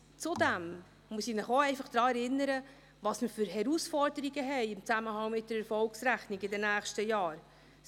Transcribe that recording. Zudem muss ich Sie daran erinnern, welche Herausforderungen wir im Zusammenhang mit der Erfolgsrechnung in den nächsten Jahren haben werden.